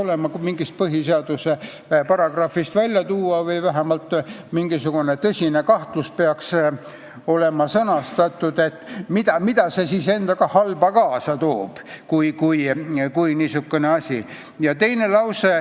See peaks mingist põhiseaduse paragrahvist tulenema või vähemalt peaks olema sõnastatud mingisugune tõsine kahtlus, et mida see siis endaga halba kaasa tooks, kui niisugune asi oleks lubatud.